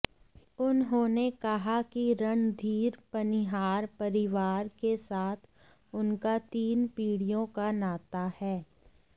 उन्होंने कहा कि रणधीर पनिहार परिवार के साथ उनका तीन पीढ़ियों का नाता है